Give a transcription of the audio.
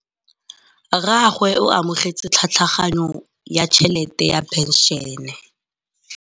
Rragwe o amogetse tlhatlhaganyô ya tšhelête ya phenšene.